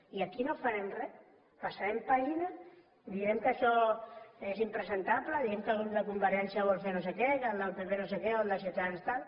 i aquí no farem res passarem pàgina direm que això és impresentable direm que el grup de convergència vol fer no sé què que el del pp no sé què o el de ciutadans tal